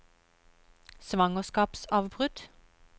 svangerskapsavbrudd